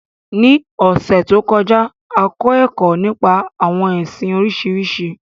Ní ọ̀sẹ̀ to kọjá, a kọ ẹkọ nípa àwọn ẹsìn Oríṣiríṣi.